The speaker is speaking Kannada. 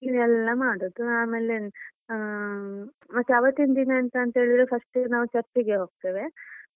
ಈಗ ಎಲ್ಲ ಮಾಡೋದು ಆಮೇಲೆ ಅಹ್ ಮತ್ತೆ ಆವತ್ತಿನ ದಿನ ಎಂತಂತೇಳಿದ್ರೆ first ನಾವು church ಗೆ ಹೋಗ್ತೇವೆ.